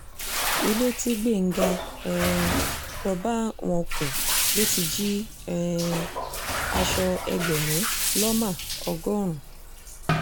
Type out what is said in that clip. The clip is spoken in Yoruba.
ilé tí gbẹ̀ngà um lọ́ọ́ bá wọn kùn ló ti jí um aṣọ ẹgbẹ̀rún lọ́mà ọgọ́rùn